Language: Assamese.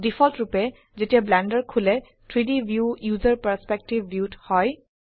ডিফল্টৰুপে যেতিয়া ব্লেন্ডাৰ খোলে 3ডি ভিউ ওচেৰ পাৰ্চপেক্টিভ ভিউ ত হয়